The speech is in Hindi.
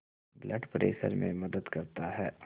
ब्लड प्रेशर में मदद करता है